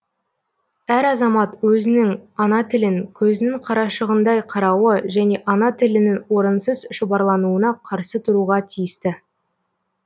әр азамат өзінің ана тілін көзінің қарашығындай қарауы және ана тілінің орынсыз шұбарлануына қарсы тұруға тиісті